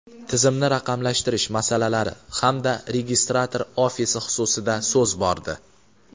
tizimni raqamlashtirish masalalari hamda registrator ofisi xususida so‘z bordi.